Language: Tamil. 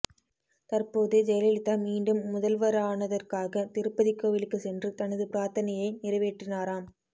தற்போது ஜெயலலிதா மீண்டும் முதல்வரானதற்காக திருப்பதி கோவிலுக்கு சென்று தனது பிரார்த்தனையை நிறைவேற்றினாராம்